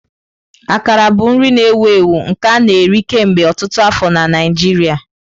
Akara bụ nri na-ewu ewu nke a na-eri kemgbe ọtụtụ afọ na Naijiria.